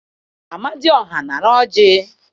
Amadị ọha nara ọjị!